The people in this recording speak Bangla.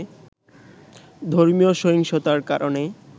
ধর্মীয় সহিংসতার কারণে